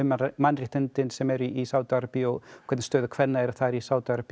mannréttindin sem eru í Sádi Arabíu og hvernig staða kvenna er í Sádi Arabíu